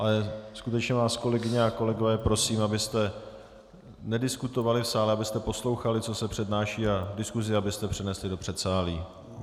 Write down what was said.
Ale skutečně vás, kolegyně a kolegové, prosím, abyste nediskutovali v sále, abyste poslouchali, co se přednáší, a diskusi abyste přenesli do předsálí.